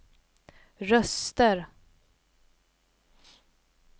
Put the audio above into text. röster